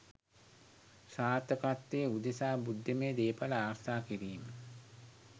සාර්ථකත්වය උදෙසා බුද්ධිමය දේපල ආරක්ෂා කිරීම